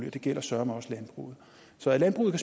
og det gælder søreme også landbruget så at landbruget